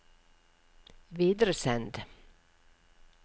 videresend